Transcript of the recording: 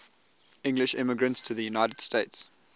english immigrants to the united states